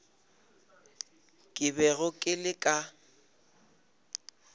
ke bego ke le ka